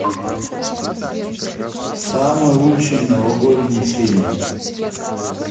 самый лучший новогодний фильм